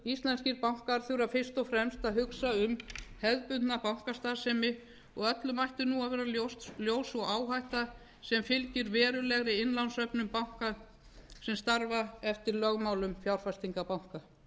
íslenskir bankar þurfa fyrst og fremst að hugsa um hefðbundna bankastarfsemi og öllum ætti að vera ljós sú áhætta sem fylgir verulegri innlánssöfnun banka sem starfa eftir lögmálum fjárfestingu banka á